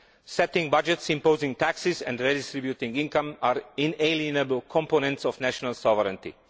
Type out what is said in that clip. Setting budgets, imposing taxes and redistributing income are inalienable components of national sovereignty.